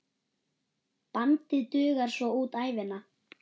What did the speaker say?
Bandið dugar svo út ævina.